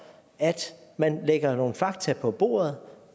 at man lægger nogle fakta på bordet